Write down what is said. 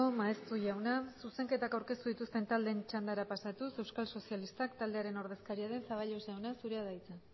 maeztu jauna zuzenketak aurkeztu dituzten taldeen txandara pasatuz euskal sozialistak taldearen ordezkaria den zaballos jauna zurea da hitza